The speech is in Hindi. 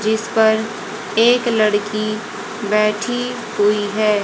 जिस पर एक लड़की बैठी हुई है।